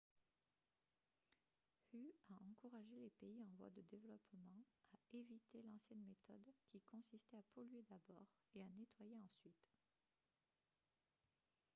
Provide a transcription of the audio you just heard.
hu a encouragé les pays en voie de développement « à éviter l'ancienne méthode qui consistait à polluer d'abord et à nettoyer ensuite »